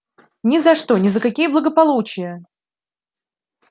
ни за что ни за какие благополучия